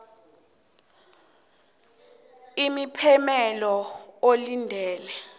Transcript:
itjho imiphumela olindele